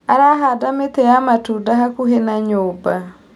Arahandaga mĩtĩ ya matunda hakuhĩ na nyũmba.